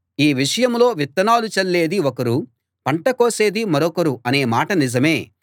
ఈ విషయంలో విత్తనాలు చల్లేది ఒకరు పంట కోసేది మరొకరు అనే మాట నిజమే